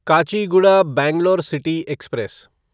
Kachiguda Bangalore city express